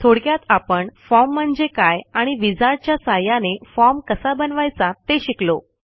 थोडक्यात आपण फॉर्म म्हणजे काय आणि विझार्ड च्या सहाय्याने फॉर्म कसा बनवायचा ते शिकलो